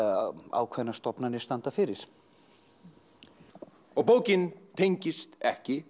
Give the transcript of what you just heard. ákveðnar stofnanir standa fyrir og bókin tengist ekki